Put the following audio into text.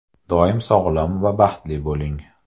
Doim sog‘lom va baxtli bo‘ling.